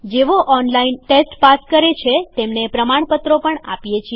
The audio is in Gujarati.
જેઓ ઓનલાઇન ટેસ્ટ પાસ કરે છે તેમને પ્રમાણપત્રો પણ આપીએ છીએ